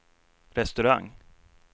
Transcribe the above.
restaurang